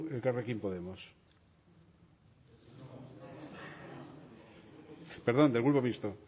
elkarekin podemos perdón del grupo mixto